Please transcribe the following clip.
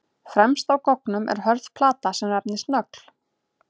Fremst á goggnum er hörð plata sem nefnist nögl.